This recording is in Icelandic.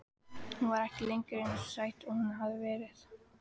Hún var ekki lengur eins sæt og hún hafði verið.